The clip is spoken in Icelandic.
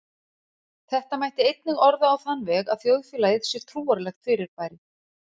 Þetta mætti einnig orða á þann veg að þjóðfélagið sé trúarlegt fyrirbæri.